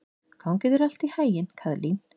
Gangi þér allt í haginn, Kaðlín.